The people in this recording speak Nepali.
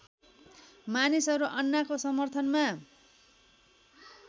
मानिसहरू अन्नाको समर्थनमा